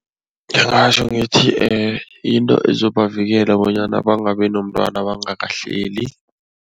Ngingatjho ngithi yinto ezobavikela bonyana bangabi nomntwana bangakahleli.